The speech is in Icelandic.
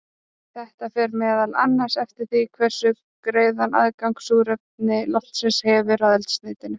Þetta fer meðal annars eftir því hversu greiðan aðgang súrefni loftsins hefur að eldsneytinu.